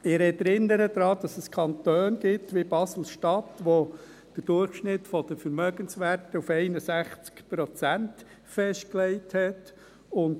Ich erinnere daran, dass es Kantone gibt wie Basel-Stadt, der den Durchschnitt der Vermögenswerte auf 61 Prozent festgelegt hat.